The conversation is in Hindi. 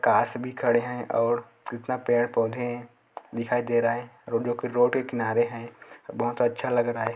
कार्स भी खड़े हैं और कितना पेड़-पौधे दिखाई दे रहे रोडियो के रोड के किनारे हैं बहुत अच्छा लग रहा हैं।